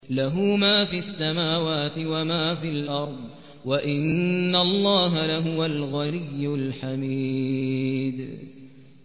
لَّهُ مَا فِي السَّمَاوَاتِ وَمَا فِي الْأَرْضِ ۗ وَإِنَّ اللَّهَ لَهُوَ الْغَنِيُّ الْحَمِيدُ